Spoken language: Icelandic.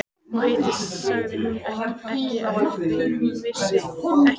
Og hitt sagði hún ekki afþvíað hún vissi ekki neitt.